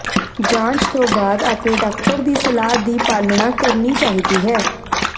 ਜਾਂਚ ਤੋਂ ਬਾਅਦ ਆਪਣੇ ਡਾਕਟਰ ਦੀ ਸਲਾਹ ਦੀ ਪਾਲਣਾ ਕਰਨੀ ਚਾਹੀਦੀ ਹੈ